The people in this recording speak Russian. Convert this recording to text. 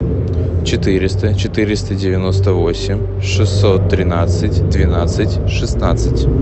четыреста четыреста девяносто восемь шестьсот тринадцать двенадцать шестнадцать